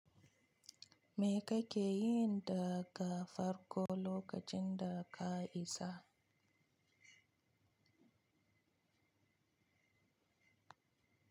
Me kake yi in daga farko lokacin da ka isa?